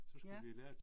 Ja